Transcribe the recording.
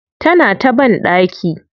Tana ta na banɗaki.